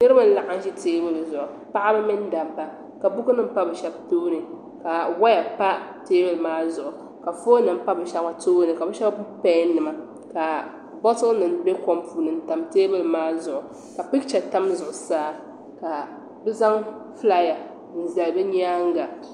Niribi n laɣim ʒi teebuli zuɣu Paɣaba mini dabba ka bukunima pa bɛ shɛbi tooni ka waya pa teebuli maa zuɣu ka ponnima pa bɛ Shɛba tooni ka bɛ shɛbi gbubi pɛɛnima ka botilinim be kom puuni n tam teebuli maa zuɣu ka picha tam zuɣu saa ka bɛ zaŋ fulaaya n zali di nyaaŋa.